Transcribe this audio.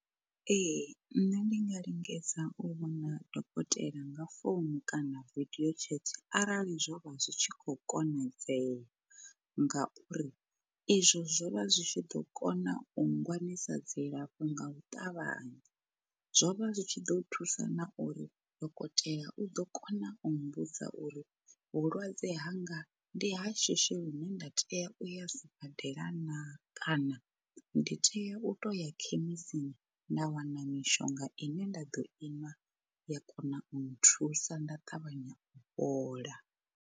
Ee nṋe ndi nga lingedza u vhona dokotela nga founu kana vidio chat arali zwo vha zwi tshi kho konadzea, ngauri izwo zwo vha zwi tshi ḓo kona u ngwanisa dzilafho nga u ṱavhanya zwo vha zwi tshi ḓo thusa na uri dokotela u ḓo kona u mbudza uri vhulwadze hanga ndi ha shishi lune nda tea uya sibadela naa kana ndi tea u to ya khemisini nda wana mishonga ine nda ḓo inwa ya kona u nthusa nda ṱavhanya u fhola.